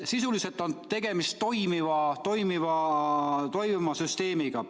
Sisuliselt on tegemist toimiva süsteemiga.